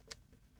DR P3